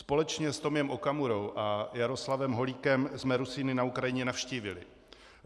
Společně s Tomiem Okamurou a Jaroslavem Holíkem jsme Rusíny na Ukrajině navštívili.